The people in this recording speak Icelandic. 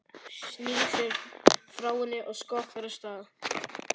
Snýr sér frá henni og skokkar af stað.